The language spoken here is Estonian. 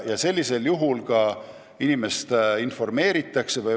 Ja sellisel juhul inimest informeeritakse.